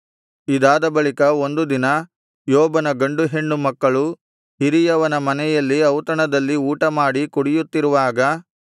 ಇದಾದ ಬಳಿಕ ಒಂದು ದಿನ ಯೋಬನ ಗಂಡು ಹೆಣ್ಣು ಮಕ್ಕಳು ಹಿರಿಯವನ ಮನೆಯಲ್ಲಿ ಔತಣದಲ್ಲಿ ಊಟಮಾಡಿ ಕುಡಿಯುತ್ತಿರುವಾಗ